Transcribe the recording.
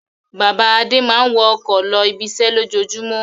Bàbá Adé máa ń wọ ọkọ̀ lọ ibiṣẹ́ lójoojúmọ́.